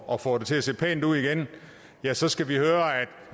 og få det til at se pænt ud igen ja så skal vi høre